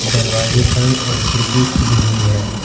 दरवाजे बंद और खिड़की खुली हुई है।